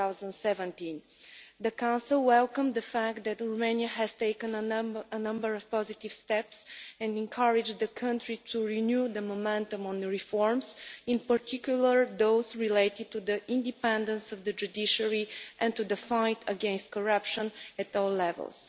2017. The Council welcomed the fact that Romania has taken a number of positive steps and encouraged the country to renew momentum on the reforms, in particular those related to the independence of the judiciary and to the fight against corruption at all levels.